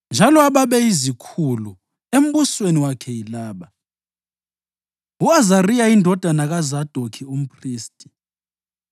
Njalo ababeyizikhulu embusweni wakhe yilaba: U-Azariya indodana kaZadokhi umphristi;